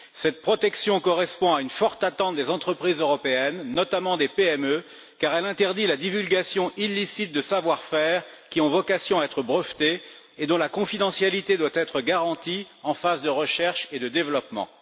Cette protection correspond à une forte attente des entreprises européennes, notamment des PME, car elle interdit la divulgation illicite de savoir faire qui ont vocation à être brevetés et dont la confidentialité doit être garantie en phase de recherche et de développement.